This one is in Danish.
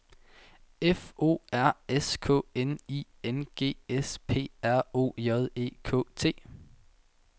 F O R S K N I N G S P R O J E K T